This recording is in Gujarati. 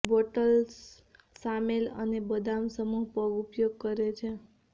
બોલ્ટ્સ સામેલ અને બદામ સમૂહ પગ ઉપયોગ કરે છે